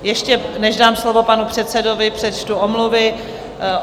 Ještě než dám slovo panu předsedovi, přečtu omluvy.